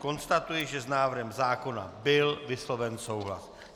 Konstatuji, že s návrhem zákona byl vysloven souhlas.